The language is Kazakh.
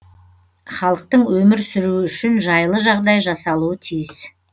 халықтың өмір сүруі үшін жайлы жағдай жасалуы тиіс